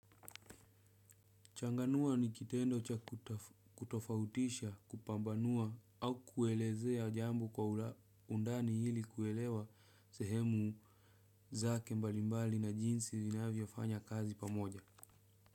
Changanua ni kitendo cha kutofautisha kupambanua au kuelezea jambo kwa undani hili kuelewa sehemu zake mbalimbali na jinsi zinavyofanya kazi pamoja.